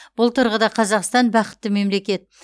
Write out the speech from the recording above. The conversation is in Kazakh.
бұл тұрғыда қазақстан бақытты мемлекет